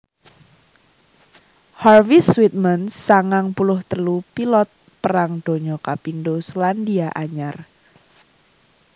Harvey Sweetman sangang puluh telu pilot Perang Donya kapindho Sélandia Anyar